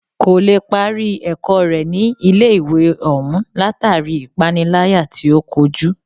Kò lè parí ẹ̀kọ́ rẹ̀ ní ilé ìwé òún látàri ipániláyà tí o kojú.